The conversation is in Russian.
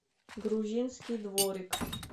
грузинский дворик